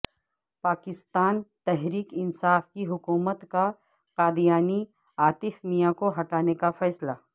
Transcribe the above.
پاکستان تحریک انصاف کی حکومت کا قادیانی عاطف میاں کو ہٹانے کا فیصلہ